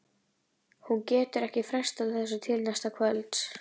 Hún getur ekki frestað þessu til næsta kvölds.